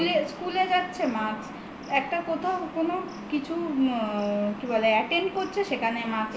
স্কুলে যাচ্ছে mask একটা কোথাও কোনো কিছু কি বলে attend করছে সেখানে mask